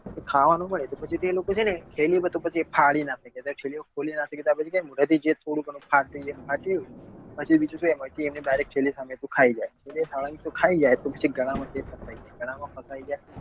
ખાવા નું હોય તો પછી એ લોકો છે ને થેલીઓ બધી ફાડી નાખે નહિ તો થેલીઓ ખોલી નાખે તો મોઢે થી જે થોડું ગણું ફાટ્યું એ ફાટ્યું પછી બીજું એ થેલી સાથે ખાઈ જાય પછી એ ખાવા નું તે ખાઈ જાય તો પછી ગળા માં ફસાઈ જાય ગળા માં ફસાઈ જાય તો